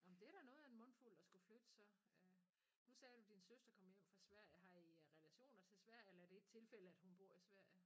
Nåh men det da noget af en mundfuld at skulle flytte så øh. Nu sagde du din søster kom hjem fra Sverige har I relationer til Sverige eller er det et tilfælde at hun bor i Sverige?